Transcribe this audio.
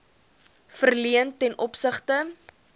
verleen ten opsigte